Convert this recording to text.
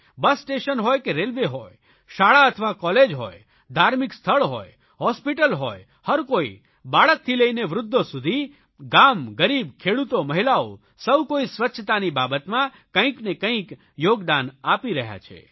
બસ station હોય કે railway હોય શાળા અથવા કોલેજ હોય ધાર્મિક સ્થળ હોય હોસ્પિટલ હોય હરકોઇ બાળકથી લઇને વૃદ્ધો સુધી ગામ ગરીબ ખેડૂતો મહિલાઓ સૌ કોઇ સ્વચ્છતાની બાબતમાં કંઇકને કંઇક યોગદાન આપી રહ્યા છે